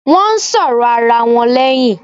Won ń sọ̀rọ̀ ara wọn leyin